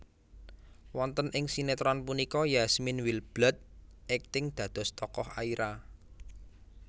Wonten ing sinétron punika Yasmine Wildbold akting dados tokoh Aira